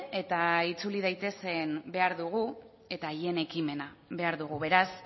eta itzuli daitezen behar dugu eta haien ekimena behar dugu beraz